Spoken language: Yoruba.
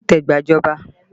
Má dìtẹ̀ gba ìjọba!